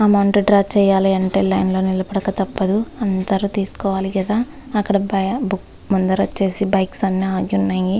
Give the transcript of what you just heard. Amount draw చేయాలంటే line లో నిలబడక తప్పదు అందరు తీసుకోవాలి కదా అక్కడ బై అందరు వచ్చేసి బైక్స్ అన్ని ఆగి ఉన్నాయి .